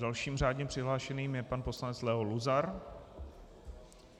Dalším řádně přihlášeným je pan poslanec Leo Luzar.